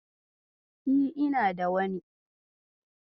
E, ina da wani.